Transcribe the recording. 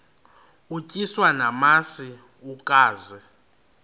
utyiswa namasi ukaze